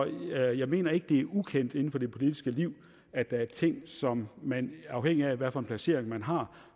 jeg mener ikke det er ukendt inden for det politiske liv at der er ting som man afhængig af hvilken placering man har